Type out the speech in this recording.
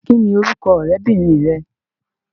Kín ni orúkọ ọrẹbinrin rẹ.